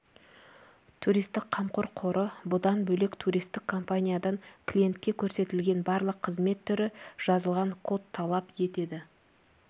туристик қамқор қоры бұдан бөлек туристік компаниядан клиентке көрсетілетін барлық қызмет түрі жазылған код талап етеді